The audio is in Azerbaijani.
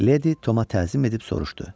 Leydi Toma təzim edib soruşdu.